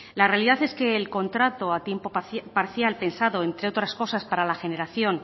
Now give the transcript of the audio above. la realidad es que el contrato a tiempo parcial pensado entre otras cosas para la generación